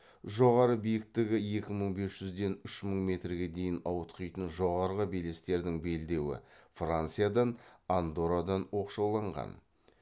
жоғары биіктігі екі мың бес жүзден үш мың метрге дейін ауытқитын жоғары белестердің белдеуі франциядан андоррадан оқшауланған